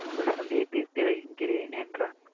உங்கள் சண்டையை தீர்த்து வைக்கிறேன் என்றான்.